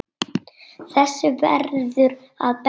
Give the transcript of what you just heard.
Þessu verður að breyta.